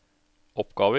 oppgaver